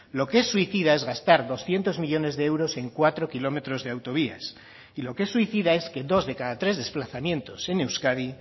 lo que es suicida es gastar doscientos millónes de euros en cuatro kilómetros de autovías y lo que es suicida es que dos de cada tres desplazamientos en euskadi